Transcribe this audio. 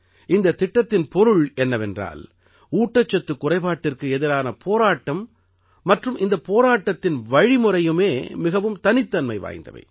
இந்தத் திட்டத்தின் பொருள் என்னவென்றால் ஊட்டச்சத்துக் குறைபாட்டிற்கு எதிரான போராட்டம் மற்றும் இந்தப் போராட்டத்தின் வழிமுறையுமே மிகவும் தனித்தன்மை வாய்ந்தவை